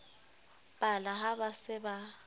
pala ha ba se ba